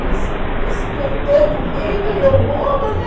Ele se, ele se encantou comigo e eu, boba, né?